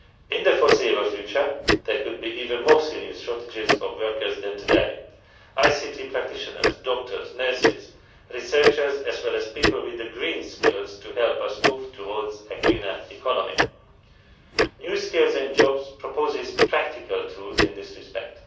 In the foreseeable future, there could be even more serious shortages of workers than today ICT practitioners, doctors, nurses, researchers, as well as people with the green skills to help us move towards a greener economy. New skills and jobs' proposes practical tools in this respect.